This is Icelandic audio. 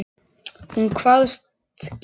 Hún kvaðst geta það.